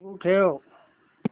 सुरू ठेव